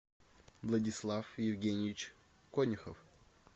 владислав евгеньевич конюхов